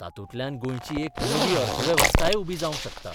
तातूंतल्यान गोंयची एक नवी अर्थवेवस्थाय उबी जावंक शकता.